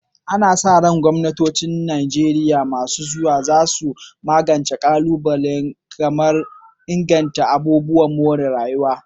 Ana sa ran gwamnatocin Najeriya masu zuwa za su magance ƙalubale kamar inganta ababen more rayuwa.